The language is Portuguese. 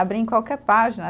Abria em qualquer página.